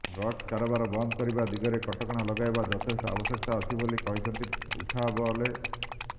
drugs କାରାବାର ବନ୍ଦ କରିବା ଦିଗରେ କଟକଣା ଲଗାଇବା ଯଥେଷ୍ଟ ଆବଶ୍ୟକତା ଅଛି ବୋଲି କହିଛନ୍ତି ଉଠାବଲେ